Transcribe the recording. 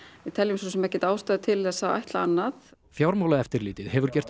við teljum svo sem ekki ástæðu til að ætla annað fjármálaeftirlitið hefur gert